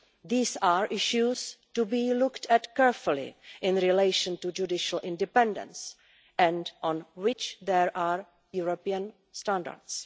These are issues to be looked at carefully in relation to judicial independence and on which there are European standards.